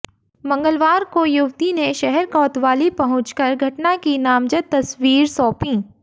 मंगलवार को युवती ने शहर कोतवाली पहुंचकर घटना की नामजद तहरीर सौंपी